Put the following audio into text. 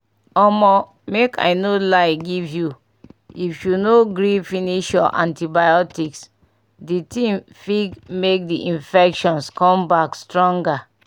omo make i no lie give you if you no gree finish your antibiotics the thing fig make the infections come back stronger